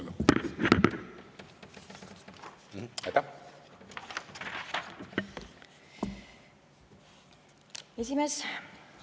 esimees!